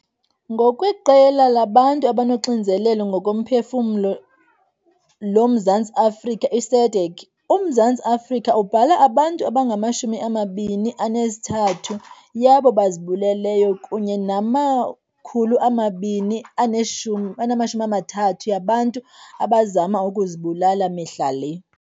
NgokweQela labaNtu abanoXinzelelo ngokoMphefumlo loMzantsi Afrika, i-SADAG, uMzantsi Afrika ubhala abantu abangama-23 yabo bazibuleleyo kunye nama-230 yabantu abazama ukuzibulala mihla le.